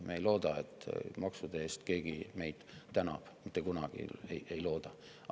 Me ei looda, et maksude eest keegi meid tänab, mitte kunagi ei looda.